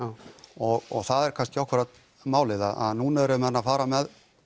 og það er kannski akkúrat málið að núna eru menn að fara með